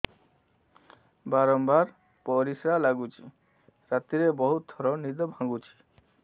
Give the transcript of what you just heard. ବାରମ୍ବାର ପରିଶ୍ରା ଲାଗୁଚି ରାତିରେ ବହୁତ ଥର ନିଦ ଭାଙ୍ଗୁଛି